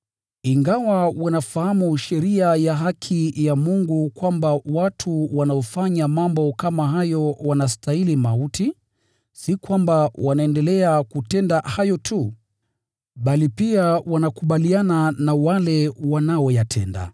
Ingawa wanafahamu sheria ya haki ya Mungu kwamba watu wanaofanya mambo kama hayo wanastahili mauti, si kwamba wanaendelea kutenda hayo tu, bali pia wanakubaliana na wale wanaoyatenda.